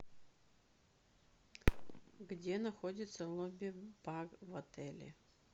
где находится лобби бар в отеле